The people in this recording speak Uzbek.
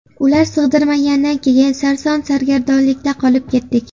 Ular sig‘dirmagandan keyin sarson-sargardonlikda qolib ketdik.